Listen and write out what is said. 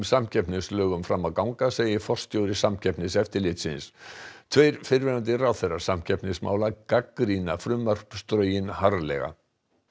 samkeppnislögum fram að ganga segir forstjóri Samkeppniseftirlitsins tveir fyrrverandi ráðherrar samkeppnismála gagnrýna frumvarpsdrögin harðlega